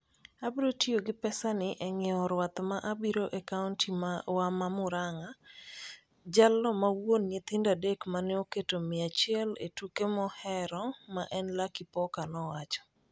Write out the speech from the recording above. "Abiro tiyo gi pesani e ng'iewo rwath ma abiro e county wa mar Murang'a," jalno ma wuon nyithindo adek mane oketo mia achiel e tuke mohero ma en Lucky Poker nowacho.